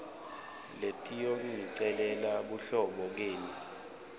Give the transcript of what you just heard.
letiyongicelela buhlobo kenu